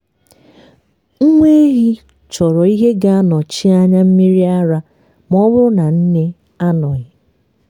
nwa ehi chọrọ ihe ga-anọchi anya mmiri ara ma ọ bụrụ na nne anọghị.